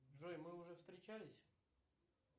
джой мы уже встречались